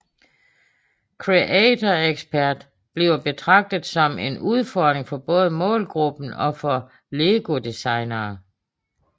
Creator Expert bliver betragtet som en udfordring for både målgruppen og for Lego designere